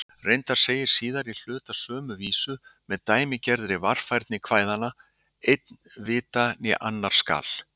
Reyndar segir síðari hluti sömu vísu, með dæmigerðri varfærni kvæðanna: Einn vita né annar skal.